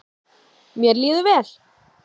Mér líður vel.